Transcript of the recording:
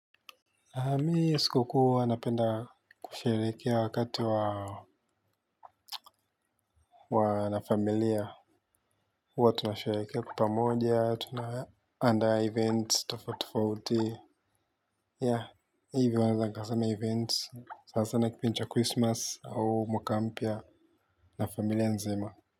Mi siku kuu uwa napenda kusherekea wakati wa wanafamilia uwa tunasherekea kwa pamoja, tunaandaa events, tofauti tofauti ya hivi wanazangasama events, sasa na kipindi cha christmas au mwaka mpya na familia nzima.